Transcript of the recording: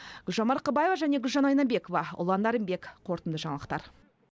гүлжан марқабаева және гүлжан айнабекова ұлан нарынбек қорытынды жаңалықтар